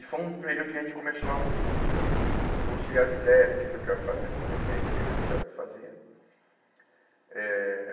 E foi um período que a gente começou a conciliar as ideias, do que que eu quero fazer daqui para frente, o que que eu não quero fazer. Eh